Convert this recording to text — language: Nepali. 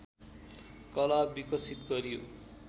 कला विकसित गरियो